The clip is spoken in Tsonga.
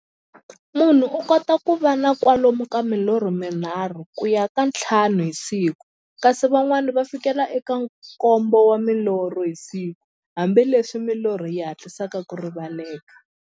Munhu u kota ku va na kwalomu ka milorho mi nharhu ku ya ka ya nthlanu hi siku, kasi van'wana ku fikela eka nkombo wa milorho hi siku-hambileswi milorho yi hatlisaka ku rivaleka.